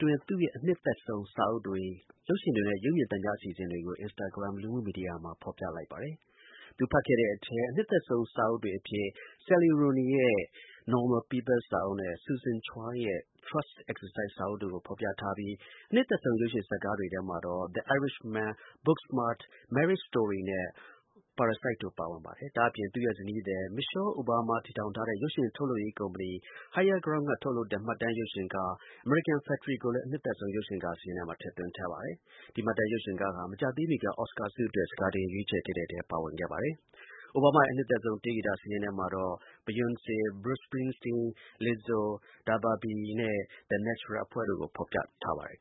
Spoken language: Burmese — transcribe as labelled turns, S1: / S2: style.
S1: တွင်း သူ့ရဲ့ အနှစ်သက်ဆုံး စာအုပ်တွေ၊ ရုပ်ရှင်တွေနဲ့ ရုပ်မြင်သံကြား အစီအစဉ်တွေကို Instagram လူမှုကွန်ယက်ကတဆင့် ထုတ်ဖော် ပြောကြားလိုက်ပါတယ်။ သူဖတ်ခဲ့တဲ့အထဲ အနှစ်သက်ဆုံး စာအုပ်တွေအဖြစ် Sally Rooney ရဲ့ Normal People စာအုပ်နဲ့ Susan Choi ရဲ့ Trust Exercise စာအုပ်တို့ကို ဖော်ပြထားပြီး၊ အနှစ်သက်ဆုံး ရုပ်ရှင်ဇာတ်ကားတွေထဲမှာတော့ The Irishman ၊ Booksmart ၊ Marriage Story နဲ့ Parasite တို့ ပါဝင်ပါတယ်။ ဒါ့အပြင် သူနဲ့ ဇနီးသည် Michelle Obama တို့ တည်ထောင်ထားတဲ့ ရုပ်ရှင်ထုတ်လုပ်ရေးကုမ္ပဏီသစ် Higher Ground က ထုတ်လုပ်တဲ့ မှတ်တမ်းရုပ်ရှင်ကား American Factory ကိုလည်း အနှစ်သက်ဆုံး ရုပ်ရှင်ကားစာရင်းမှာ ထည့်သွင်းထားပါတယ်။ ဒီမှတ်တမ်းရုပ်ရှင်ကားဟာ မကြာသေးမီက Oscar အတွက် စကာတင် ရွေးချယ်တဲ့အထဲ အပါအဝင် ဖြစ်ခဲ့ပါတယ်။ Obama ရဲ့ အနှစ်သက်ဆုံး တေးဂီတ စာရင်းထဲမှာတော့ Beyonce ၊ Bruce Springsteen ၊ Lizzo ၊ DaBaby နဲ့ The National တို့ကို ဖော်ပြ
S2: ထားပါတယ်